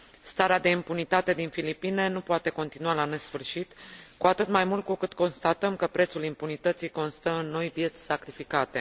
Starea de impunitate din Filipine nu poate continua la nesfârșit, cu atât mai mult cu cât constatăm că prețul impunității constă în noi vieți sacrificate.